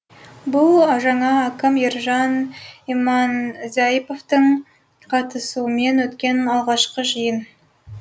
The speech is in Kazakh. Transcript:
бұл жаңа әкім ержан иманзаиповтың қатысуымен өткен алғашқы жиын